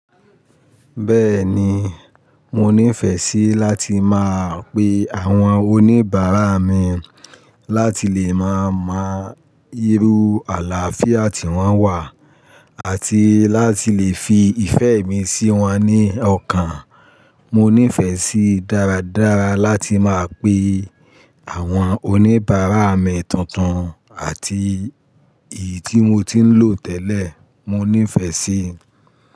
Bẹ́ẹ̀ni, mo nífẹ̀ẹ́ sí láti máa pe àwọn oníbàárà mi láti lè máa mọ irú àlàáfíà tí wọ́n wà àti láti lè fi ìfẹ́ mi sí wọn ní ọkàn. Mo nífẹ̀ẹ́ sí dáradára láti máa pe àwọn oníbàárà mi tuntun àti èyí tí mo ti ń lò tẹ́lẹ̀. Mo nífẹ̀ẹ́ sí.